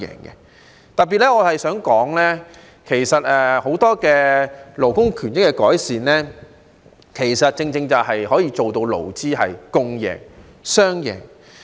我特別想說的是，很多勞工權益的改善都可以做到勞資共贏、雙贏。